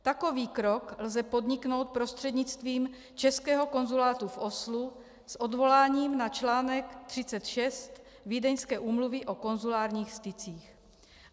Takový krok lze podniknout prostřednictvím českého konzulátu v Oslu s odvoláním na článek 36 Vídeňské úmluvy o konzulárních stycích.